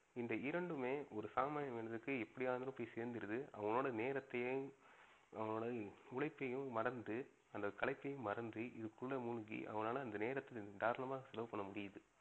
இந்த இரண்டுமே ஒரு சாமானிய மனிதனுக்கு எப்படியாவது போய் செந்துறது. அவனோட நேரத்தையும், அவனோட உழைப்பையும் மறந்து அந்த களைப்பையும் மறந்து இதுக்குள்ள முழுகி அவனால அந்த நேரத தராளமா செலவு பண்ண முடிது.